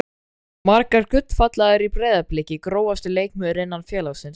Margar gullfallegar í Breiðablik Grófasti leikmaður innan félagsins?